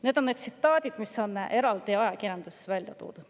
Need on tsitaadid, mis on ajakirjanduses välja toodud.